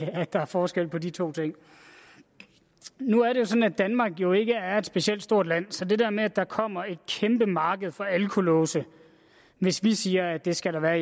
at der er forskel på de to ting nu er det sådan at danmark jo ikke er et specielt stort land så det der med at der kommer et kæmpe marked for alkolåse hvis vi siger at der skal være